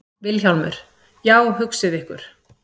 VILHJÁLMUR: Já, hugsið ykkur.